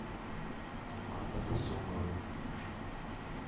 анна насонова